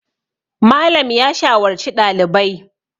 Malam ya shawarci ɗalibai